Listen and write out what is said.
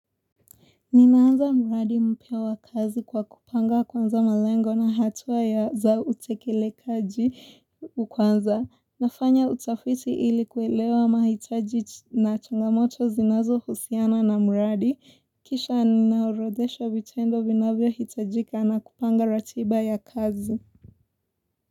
Ninaanza muradi mpya wa kazi kwa kupanga kwanza malengo na hatua za utekelekaji kwanza. Nafanya utafiti ili kuelewa mahitaji na changamoto zinazohusiana na muradi. Kisha ninaorodhesha vitendo vinavyohitajika na kupanga ratiba ya kazi.